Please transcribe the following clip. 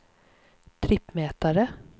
trippmätare